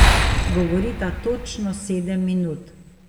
Govorita točno sedem minut.